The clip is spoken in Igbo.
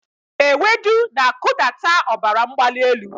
Ewedu na-akụdata ọbara mgbali elu.